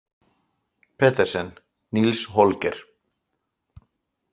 Petersen, Nils Holger.